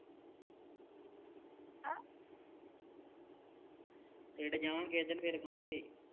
ਪਿੰਡ ਜਾਵਾਂਗੇ ਕਿਹੇ ਦਿਨ ਫੇਰ ਖਾਵਾਂਗੇ